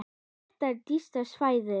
Þetta er dýrasta svæðið.